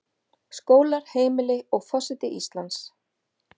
Skólar, heimili, og forseti Íslands.